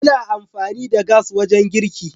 Ana amfani da gas wajen girki.